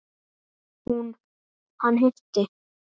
Hún: Hann hitti.